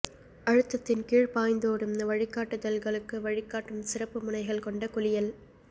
அழுத்தத்தின் கீழ் பாய்ந்தோடும் வழிகாட்டுதல்களுக்கு வழிகாட்டும் சிறப்பு முனைகள் கொண்ட குளியல்